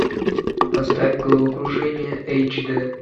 поставь головокружение эйч д